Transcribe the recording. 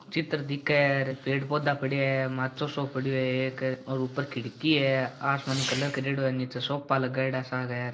चित्र दिख र पेड़ पोधा पड्या रे माचो सो पड्यो रे और ऊपर खिड़की है आसमानी कलर करेडो है निचे सोफा लगायोडा सा है।